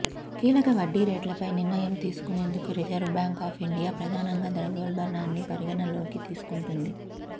కీలక వడ్డీరేట్లపై నిర్ణయం తీసుకునేందుకు రిజర్వ్ బ్యాంక్ ఆఫ్ ఇండియా ప్రధానంగా ద్రవ్యోల్బణాన్ని పరిగణనలోకి తీసుకుం టుంది